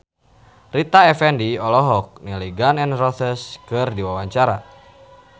Rita Effendy olohok ningali Gun N Roses keur diwawancara